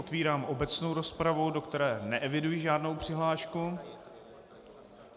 Otvírám obecnou rozpravu, do které neeviduji žádnou přihlášku.